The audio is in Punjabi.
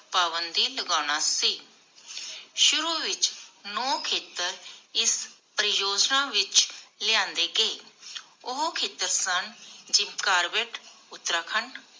ਪਾਬੰਦੀ ਲਗਾਨਾ ਸੀ. ਸ਼ੁਰੂ ਵਿਚ ਨੌ ਖੇਤਰ ਇਸ ਪਰਿਯੋਜਨਾ ਵਿਚ ਲਿਆਂਦੇ ਗਏ. ਉਹ ਖੇਤਰ ਸਨ ਜਿਮ ਕਾਰਬੈੱਟ ਉਤਰਾਖੰਡ